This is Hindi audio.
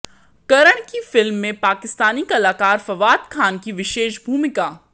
करण की फिल्म में पाकिस्तानी कलाकाार फवाद खान की विशेष भूमिका